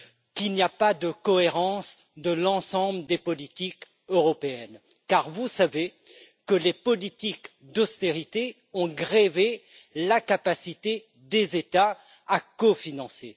qu'il n'y a pas de cohérence de l'ensemble des politiques européennes car vous savez que les politiques d'austérité ont grevé la capacité des États à cofinancer.